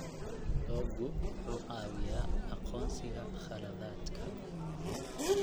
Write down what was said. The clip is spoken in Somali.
Loggu wuxuu caawiyaa aqoonsiga khaladaadka.